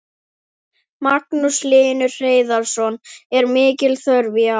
Magnús Hlynur Hreiðarsson: Er mikil þörf í ár?